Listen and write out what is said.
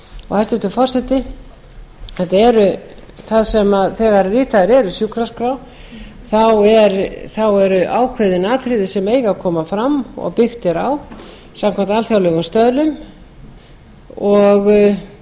hæstvirtur forseti þegar ritaðar eru sjúkraskrár eru ákveðin atriði sem eiga að koma fram og byggt er á samkvæmt alþjóðlegum stöðlum og